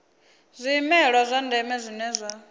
zwimela zwa ndeme zwine zwa